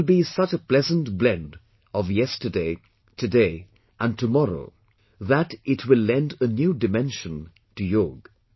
It will be such pleasant blend of Yesterday, today and tomorrow that it will lend a new dimension to Yoga